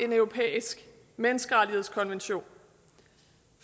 en europæisk menneskerettighedskonvention